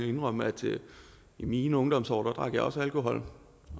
indrømme at i mine ungdomsår drak jeg også alkohol